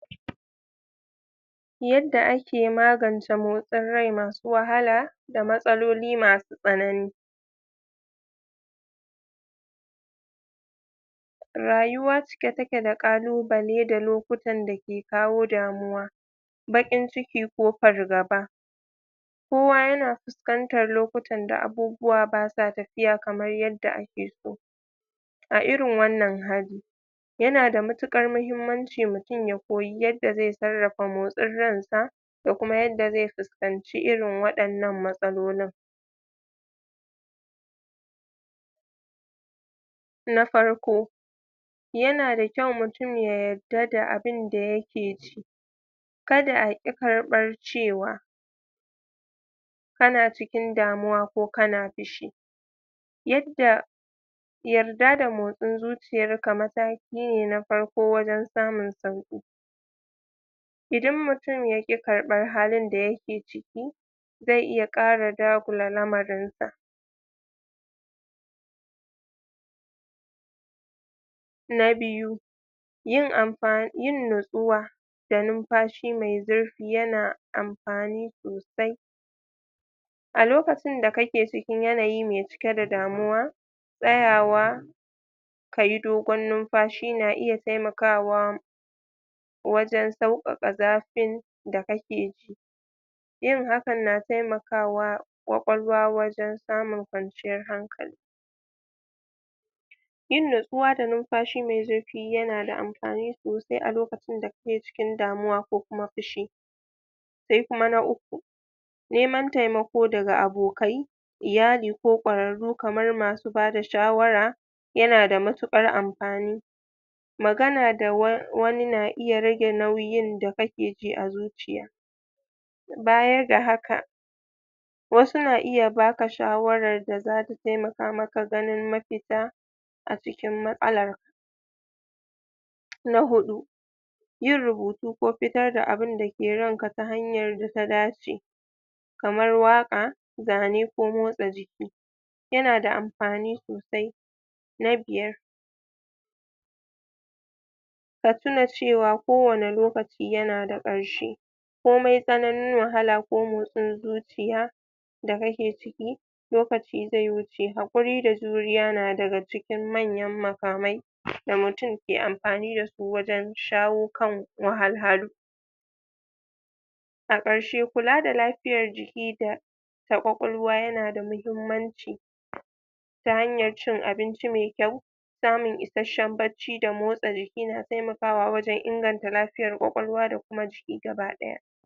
Yadda ake magance motsin rai masu wahala, da matsaloli masu tsanani. Rayuwa cike take da ƙalubale da lokutan da ke kawo damuwa, baƙin ciki ko fargaba. Kowa yana fuskantar lokuta da abubuwa basa tafiya kamar yadda ake so. A irin wannan hali, yana da matuƙar muhimmanci mutum ya koyi yadda zai sarrafa motsin ran sa, da kuma yadda zai fuskanci irin waɗannan matsalolin. Na farko, yana da kyau mutum ya yadda da abinda yake ji, kada a ƙi karbar cewa kana cikin damuwa, ko kana fushi. Yarda da motsin zuciyar ka mataki ne na farko wajan samun sauƙi. Idan mutum yaƙi karɓar halin da yake ciki, zai iya ƙara dagula lamarin sa. Na biyu, yin nutsuwa da numfashi mai zurfi amfani sosai. A lokacin da kake cikin yanayi mai cike da damuwa, tsayawa kayi dogon numfashi, na iya taimakawa wajan sauƙaƙa zafin da kake ji, yin hakan na taimakawa ƙwaƙwalwa wajan samun kwanciyan hankali. Yin nutsuwa da numfashi mai zurfi yana da amfani sosai a lokacin da kake cikin damuwa, ko kuma fushi. Se kuma ana uku, neman taimako daga abokai, iyali ko ƙwararru, kamar masu bada shawara, yana da matuƙar amfani. Magana da wani na iya rage nauyin da kake ji a zuciya, baya ga haka, wasu na iya baka shawarar da zasu taimaka maka ganin mafita a cikin matsalar. Na huɗu, yin rubutu ko fitar da abunda ke damunka ta hanyar da ta dace, kamar waƙa, zane ko motsa jiki, yana da amfani sosai. Na biyar, ka tuna cewa ko wane lokaci yana da ƙarshe. Komai tsananin wahala ko motsin zuciya da kake ciki, lokaci zai wuce. Haƙuri da juriya na daga cikin manyan makamai da mutum ke amfani da su, wajan shawo kan wahalhalu. A ƙarshe, kula da lafiyar jiki da ƙwaƙwalwa yana da muhimmanci, ta hanyar cin abinci mai kyau. Samun isashen bacci da motsa jiki na taimakawa, wajan inganta lafiyar ƙwaƙwalwa da jiki baki ɗaya.